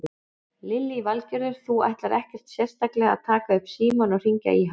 Lillý Valgerður: Þú ætlar ekkert sérstaklega að taka upp símann og hringja í hann?